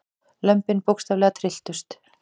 Lömbin bókstaflega trylltust.